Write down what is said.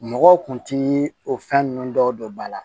Mɔgɔw kun ti o fɛn ninnu dɔw don ba la